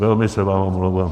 Velmi se vám omlouvám.